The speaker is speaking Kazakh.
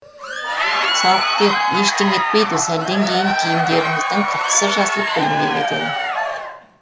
сауықбек ештеңе етпейді сәлден кейін киімдеріміздің қыртысы жазылып білінбей кетеді